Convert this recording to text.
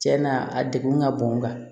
Cɛn na a degun ka bon n kan